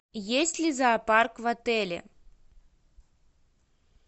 есть ли зоопарк в отеле